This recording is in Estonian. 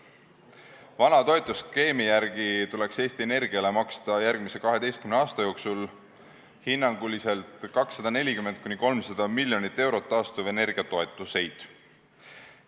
Vana toetusskeemi järgi tuleks Eesti Energiale maksta järgmise 12 aasta jooksul hinnanguliselt 240–300 miljonit eurot taastuvenergia toetuseid.